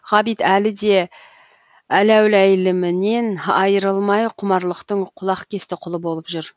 ғабит әлі де әләуләйлімінен айрылмай құмарлықтың құлақкесті құлы болып жүр